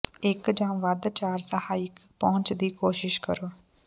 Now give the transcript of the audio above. ਇੱਕ ਜਾਂ ਵੱਧ ਚਾਰ ਸਹਾਇਕ ਪਹੁੰਚ ਦੀ ਕੋਸ਼ਿਸ਼ ਕਰੋ